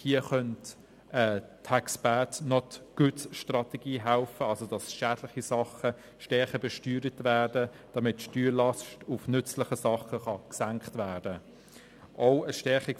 Hier könnte eine «Tax bads, not goods»-Strategie helfen, wodurch schädliche Dinge stärker besteuert werden, damit die Steuerlast auf nützliche Dinge gesenkt werden kann.